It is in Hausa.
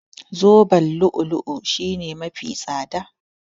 Zoben lu'u-lu'u shine mafi tsada.